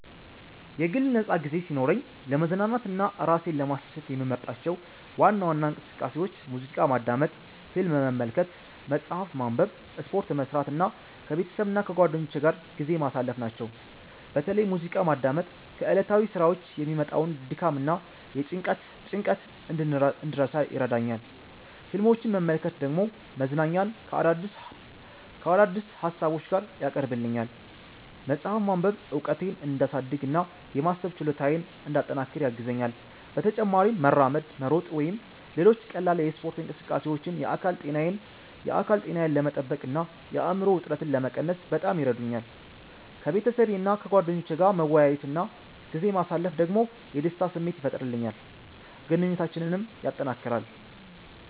የግል ነፃ ጊዜ ሲኖረኝ ለመዝናናትና ራሴን ለማስደሰት የምመርጣቸው ዋና ዋና እንቅስቃሴዎች ሙዚቃ ማዳመጥ፣ ፊልም መመልከት፣ መጽሐፍ ማንበብ፣ ስፖርት መስራት እና ከቤተሰብና ከጓደኞቼ ጋር ጊዜ ማሳለፍ ናቸው። በተለይ ሙዚቃ ማዳመጥ ከዕለታዊ ሥራዎች የሚመጣውን ድካምና ጭንቀት እንድረሳ ይረዳኛል፣ ፊልሞችን መመልከት ደግሞ መዝናኛን ከአዳዲስ ሀሳቦች ጋር ያቀርብልኛል። መጽሐፍ ማንበብ እውቀቴን እንዲያሳድግ እና የማሰብ ችሎታዬን እንዲያጠናክር ያግዘኛል። በተጨማሪም መራመድ፣ መሮጥ ወይም ሌሎች ቀላል የስፖርት እንቅስቃሴዎች የአካል ጤናዬን ለመጠበቅ እና የአእምሮ ውጥረትን ለመቀነስ በጣም ይረዱኛል። ከቤተሰቤና ከጓደኞቼ ጋር መወያየት እና ጊዜ ማሳለፍ ደግሞ የደስታ ስሜት ይፈጥርልኛል፣ ግንኙነታችንንም ያጠናክራል።